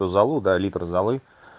залу да литр залы